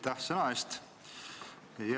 Aitäh sõna eest!